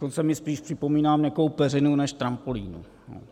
Dokonce mi spíš připomíná měkkou peřinu než trampolínu.